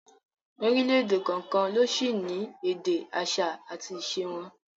Orílẹ̀èdè kọ̀ọ̀kan ló sì ní èdè, àṣà àti ìṣe wọn